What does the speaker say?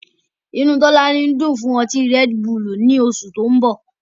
Inú Tọ́lání ń dùn fún ọtí Redbull ní oṣù tó mbọ̀